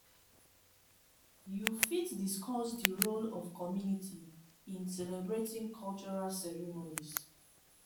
you fit discuss di role of community in celebrating cultural ceremonies.